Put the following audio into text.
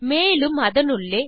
மேலும் அதனுள்ளே